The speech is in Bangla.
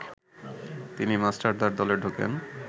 তিনি মাস্টারদার দলে ঢোকেন